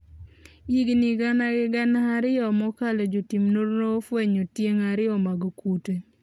Higni gana gi gana mokalo jotim nonro ofwenyo tieng' ariyo mag kute